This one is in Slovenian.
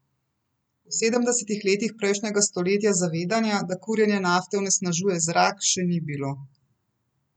V sedemdesetih letih prejšnjega stoletja zavedanja, da kurjenje nafte onesnažuje zrak, še ni bilo.